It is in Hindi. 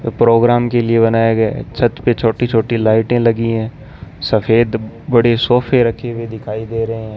प्रोग्राम के लिए बनाया गया है छत पे छोटी छोटी लाइटें लगी हैं सफेद बड़े सोफे रखी हुई दिखाई दे रहे हैं।